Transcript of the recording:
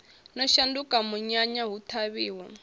no shanduka munyanya hu ṱhavhiwa